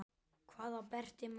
Hvað á Berti mörg?